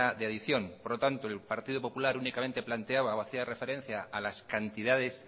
de adicción por lo tanto el partido popular únicamente planteaba o hacía referencia a las cantidades